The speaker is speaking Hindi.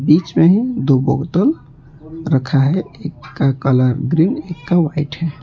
बीच में दो बोतल रखा है एक का कलर ग्रीन एक का वाइट है।